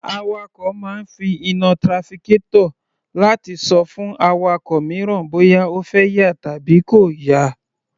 Awakọ̀ máa ń fi iná trafficator láti ṣọ fún awakọ̀ mìíràn bóyá ó fẹ́ yà tàbí kò yà.